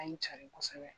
A ye n cari kosɛbɛ